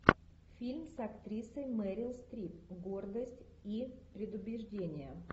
фильм с актрисой мэрил стрип гордость и предубеждение